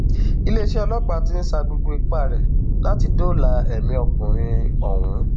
iléeṣẹ ọlọpàá ti ń sa gbogbo ipá rẹ láti dóòlà ẹmí ọkùnrin ọhún